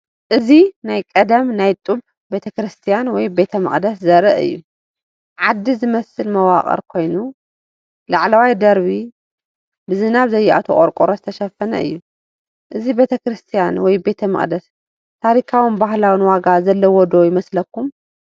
እዚ ናይ ቀደም ናይ ጡብ ቤተክርስትያን ወይ ቤተ መቕደስ ዘርኢ እዩ። ዓዲ ዝመስል መዋቕር ኮይኑ፡ ላዕለዋይ ደርቢ ብዝናብ ዘይኣትዎ ቆርቆሮ ዝተሸፈነ እዩ። እዚ ቤተ ክርስቲያን ወይ ቤተ መቕደስ ታሪኻውን ባህላውን ዋጋ ዘለዎ ዶ ይመስለኩም?